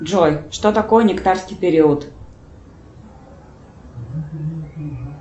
джой что такое нектарский период